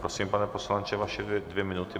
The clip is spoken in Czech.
Prosím, pane poslanče, vaše dvě minuty.